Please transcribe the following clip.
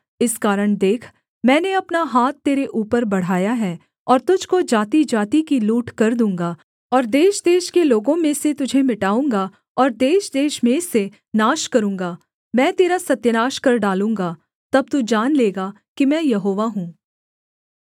इस कारण देख मैंने अपना हाथ तेरे ऊपर बढ़ाया है और तुझको जातिजाति की लूटकर दूँगा और देशदेश के लोगों में से तुझे मिटाऊँगा और देशदेश में से नाश करूँगा मैं तेरा सत्यानाश कर डालूँगा तब तू जान लेगा कि मैं यहोवा हूँ